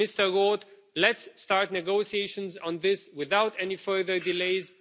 Mr Roth, let's start negotiations on this without any further delays.